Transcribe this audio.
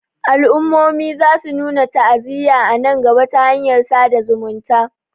al'ummomin za su nuna ta'aziyya a nan gaba ta hanyar sada zumunta